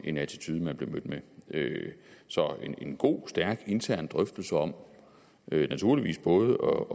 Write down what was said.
en attitude jeg blev mødt med så en god stærk intern drøftelse om naturligvis både